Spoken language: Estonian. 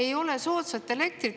Ei ole soodsat elektrit.